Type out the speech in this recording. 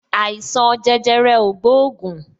Àìsàn jẹjẹrẹ o gbóògùn